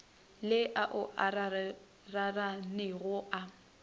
le ao a raranego a